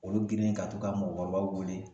Olu girinnen ka t'u ka mɔgɔkɔrɔbaw wele